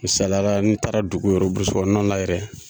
Misaliyara n'i taara dugu yɛrɛ burusukɔnɔ na yɛrɛ